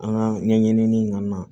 An ka ɲɛɲinini kɔni na